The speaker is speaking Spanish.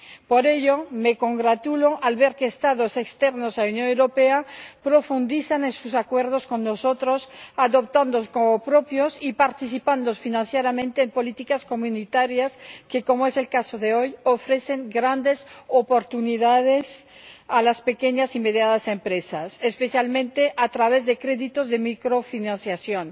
Por ello, me congratulo al ver que Estados externos a la Unión Europea profundizan en sus acuerdos con nosotros, adoptándolos como propios y participando financieramente en políticas comunitarias que, como es el caso de hoy, ofrecen grandes oportunidades a las pequeñas y medianas empresas, especialmente a través de créditos de microfinanciación,